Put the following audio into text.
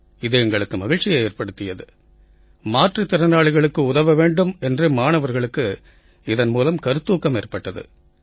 இது எங்களுக்கு மகிழ்ச்சியை ஏற்படுத்தியது மாற்றுத் திறனாளிகளுக்கு உதவ வேண்டும் என்று மாணவர்களுக்கு இதன் கருத்தூக்கம் ஏற்பட்டது